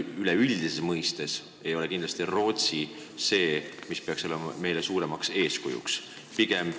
Üleüldises mõttes ei ole kindlasti Rootsi see riik, mis peaks meile suureks eeskujuks olema.